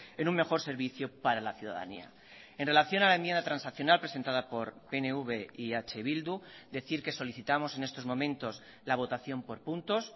en un mejor servicio para la ciudadanía en relación a la enmienda transaccional presentada por pnv y eh bildu decir que solicitamos en estos momentos la votación por puntos